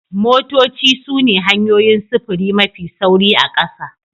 Motoci sune hanyoyin sufuri mafi sauri a ƙasa